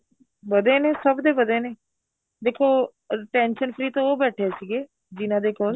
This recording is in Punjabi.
ਵਧੇ ਨੇ ਸਭ ਦੇ ਵਧੇ ਨੇ ਦੇਖੋ tension free ਤਾਂ ਉਹ ਬੈਠੇ ਸੀਗੇ ਜਿਹਨਾ ਦੇ ਕੋਲ